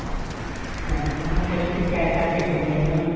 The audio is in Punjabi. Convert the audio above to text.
ਹਾਂ ਹਾਂ ਉਹ ਫੇਰ ਅਸੀਂ pack ਕਰ ਕੇ ਦਿੰਨੇ ਆ ਉਹਨਾ ਨੂੰ